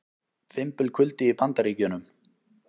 Fimbulkuldi í Bandaríkjunum